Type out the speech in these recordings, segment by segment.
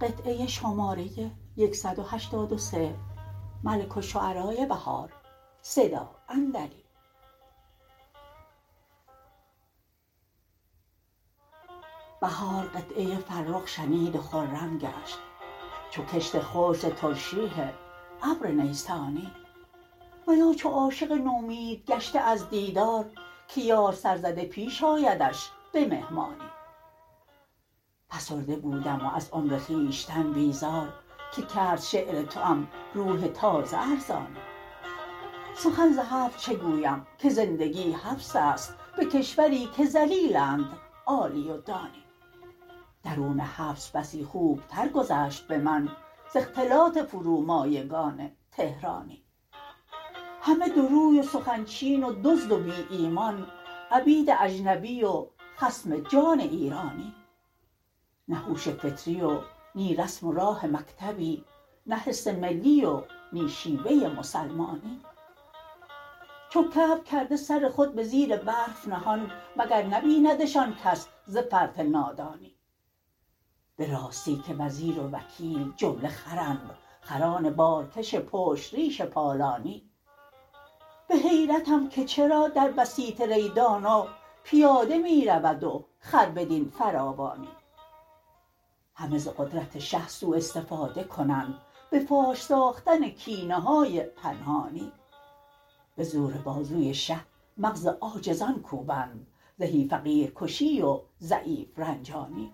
بهار قطعه فرخ شنید و خرم گشت چو کشت خشک ز ترشیح ابر نیسانی و یا چو عاشق نومید گشته از دیدار که یار سر زده ییش آیدش به مهمانی فسرده بودم و از عمر خویشتن بیزار که کرد شعر توام روح تازه ارزانی سخن ز حبس چه گویم که زندگی حبس است به کشوری که ذلیلند عالی و دانی درون حبس بسی خوب تر گذشت به من ز اختلاط فرومایگان تهرانی همه دوروی و سخن چین و دزد و بی ایمان عبید اجنبی و خصم جان ایرانی نه هوش فطری و نی رسم و راه مکتبی نه حس ملی و نی شیوه مسلمانی چو کبک کرده سر خود به زیر برف نهان مگر نبیندشان کس ز فرط نادانی به راستی که وزیر و وکیل جمله خرند خران بارکش پشت ریش پالانی به حیرتم که چرا در بسیط ری دانا پیاده می رود و خر بدین فراوانی همه ز قدرت شه سوء استفاده کنند به فاش ساختن کینه های پنهانی به زور بازوی شه مغز عاجزان کوبند زهی فقیرکشی و ضعیف رنجانی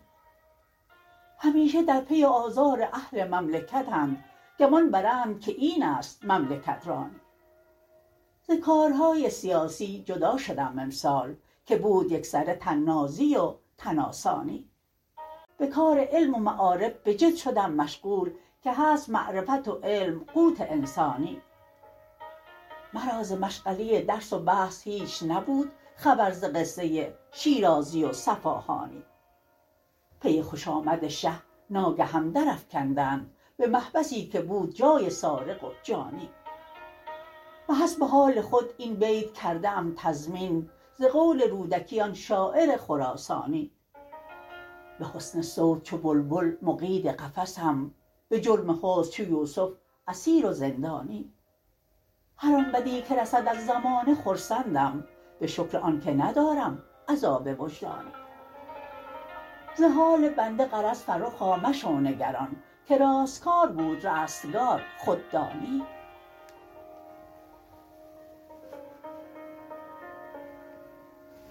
همیشه در پی آزار اهل مملکت اند گمان برند که این است مملکت رانی ز کارهای سیاسی جدا شدم امسال که بود یکسره طنازی و تن آسانی به کار علم و معارف به جد شدم مشغول که هست معرفت و علم قوت انسانی مرا ز مشغله درس و بحث هیچ نبود خبر ز قصه شیرازی و صفاهانی پی خوش آمد شه ناگهم درافکندند به محبسی که بود جای سارق و جانی به حسب حال خود این بیت کرده ام تضمین ز قول رودکی آن شاعر خراسانی به حسن صوت چو بلبل مقید قفسم به جرم حسن چو یوسف اسیر و زندانی هر آن بدی که رسد از زمانه خرسندم به شکر آن که ندارم عذاب وجدانی ز حال بنده غرض فرخا مشو نگران که راستکار بود رستگار خود دانی